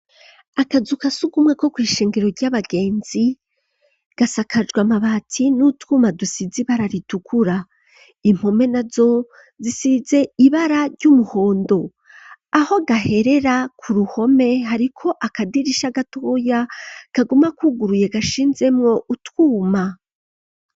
Akazu ka sugumwa ko kw'ishengero ry'abagenzi gasakajwa amabati n'utwuma dusizi ibara ritukura impome nazo zisize ibara ry'umuhondo aho gaherera ku ruhome hariko akadirisha gatoya kaguma kuguruye gashinzemo utwuma.